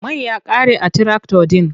Mai ya ƙare a tirakta ɗin.